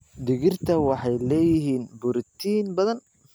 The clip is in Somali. Digirta waxay leeyihiin borotiin badan.